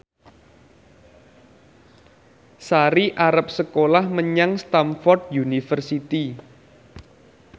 Sari arep sekolah menyang Stamford University